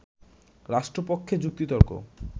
রাষ্ট্রপক্ষে যুক্তিতর্ক